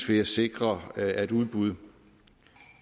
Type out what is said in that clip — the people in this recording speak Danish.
ved at sikre at udbud